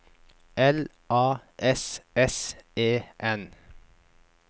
L A S S E N